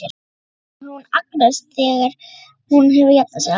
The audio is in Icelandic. spyr hún Agnesi þegar hún hefur jafnað sig alveg.